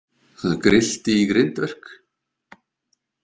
Það grillti í grindverk.